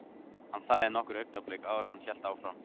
Hann þagði nokkur augnablik áður en hann hélt áfram.